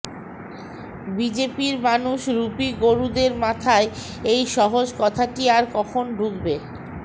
বিজেপির মানুষ রুপী গরুদের মাথায় এই সহজ কথাটি আর কখন ঢুকবে